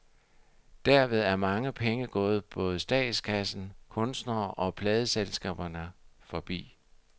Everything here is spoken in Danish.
Derved er mange penge gået både statskassen, kunstnerne og pladeselskaberne forbi.